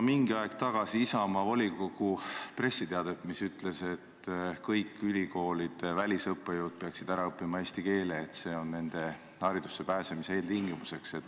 Mingi aeg tagasi lugesin ma Isamaa volikogu pressiteadet, mis ütles, et kõik ülikoolide välisõppejõud peaksid ära õppima eesti keele, et see on nende tööle pääsemise eeltingimus.